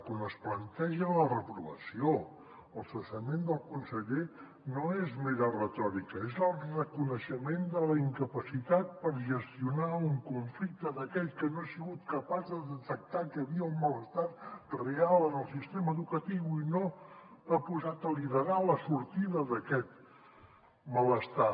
quan es planteja la reprovació o el cessament del conseller no és mera retòrica és el reconeixement de la incapacitat per gestionar un conflicte d’aquell que no ha sigut capaç de detectar que hi havia un malestar real en el sistema educatiu i no ha posat a liderar la sortida d’aquest malestar